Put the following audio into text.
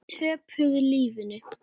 Töpuðu lífinu.